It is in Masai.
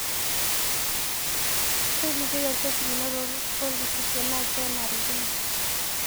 Tolikioi orkesi lino toorpolisi tenaa kenarikino.